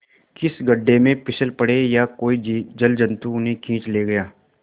किसी गढ़े में फिसल पड़े या कोई जलजंतु उन्हें खींच ले गया